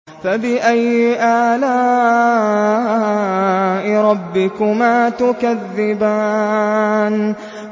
فَبِأَيِّ آلَاءِ رَبِّكُمَا تُكَذِّبَانِ